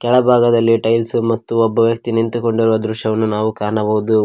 ತೆಳಭಾಗದಲ್ಲಿ tiles ಮತ್ತು ಒಬ್ಬ ವ್ಯಕ್ತಿ ನಿಂತುಕೊಂಡಿರುವ ದೃಶ್ಯವನ್ನು ನಾವು ಕಾಣಬಹುದು ಒಟ್--